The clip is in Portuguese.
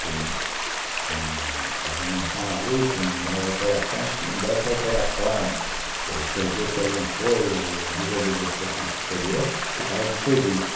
Quem quem estava normal ali, quem não dava alteração, quem desse alteração, ou perdesse alguma coisa, ou desobedecesse um superior, ficava de serviço.